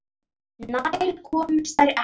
Nær komust þær ekki.